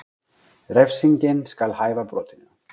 Refsingin skal hæfa brotinu